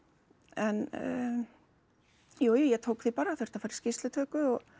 en jújú ég tók því bara þurfti að fara í skýrslutöku og